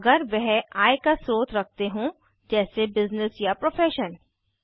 अगर वह आय का स्रोत रखते हों जैस बिज़्निस या प्रोफ़ेशन